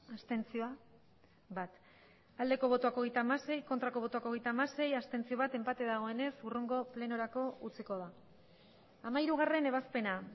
abstentzioa hogeita hamasei bai hogeita hamasei ez bat abstentzio enpate dagoenez hurrengo plenorako utziko da hamairugarrena ebazpena